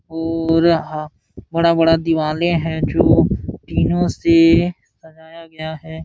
पूरा ह बड़ा-बड़ा दीवाले है जो टीनो से सजाया गया है।